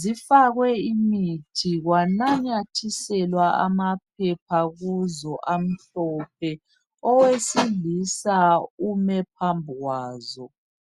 zifakwe imithi kwanamathiselwa amaphepha kuzo amhlophe. Owesilisa ume phambi kwazo.